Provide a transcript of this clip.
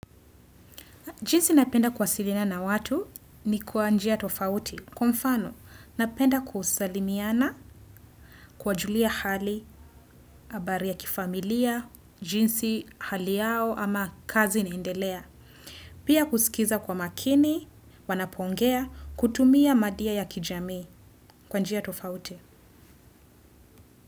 Jinsi napenda kwasiliana na watu ni kwa njia tofauti. Kwa mfano, napenda kwa usalimiana, kuwajulia hali, abari ya kifamilia, jinsi, hali yao ama kazi inaendelea. Pia kusikiza kwa makini, wanapongea, kutumia madia ya kijami kwa njia tofauti.